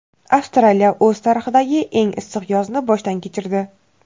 Avstraliya o‘z tarixidagi eng issiq yozni boshdan kechirdi.